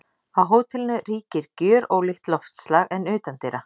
Á hótelinu ríkir gjörólíkt loftslag en utandyra.